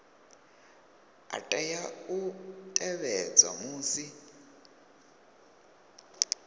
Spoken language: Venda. a tea u tevhedzwa musi